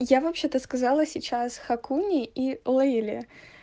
я вообще-то сказала сейчас хакуне и лейле